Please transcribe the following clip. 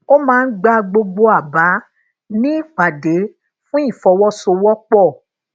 o maa n gba gbogbo aba ni ipade fun ifọwọsowópo